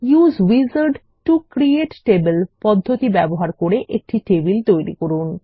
use wizard to create table পদ্ধতি ব্যবহার করে একটি টেবিল তৈরি করুন